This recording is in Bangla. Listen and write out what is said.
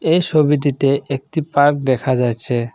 এই সবিটিতে একটি পার্ক দেখা যাইছে।